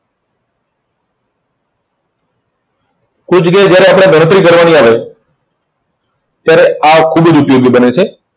કોઈ જગ્યાએ જયારે આપણે ગણતરી કરવાની આવે, ત્યારે આ ખુબ જ ઉપયોગી બને છે.